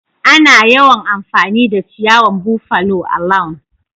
Ana yawan amfani da ciyawan buffalo a'lawn.